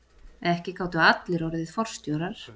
Ekki gátu allir orðið forstjórar.